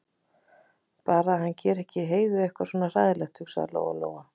Bara að hann geri ekki Heiðu eitthvað svona hræðilegt, hugsaði Lóa-Lóa.